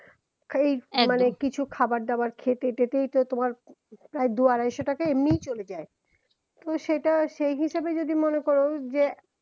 এই মানে কিছু খাবার দাবার খেতেই তো তোমার প্রায় দুই আড়াইশো টাকা এমনেই চলে যায় তুমি সেটা সেই হিসাবে যদি মনে করো যে